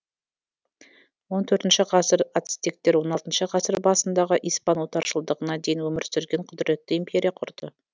он төртінші ғасыр ацетектер он алтыншы ғасыр басындағы испан отаршылдығына дейін өмір сүрген құдіретті империя құрды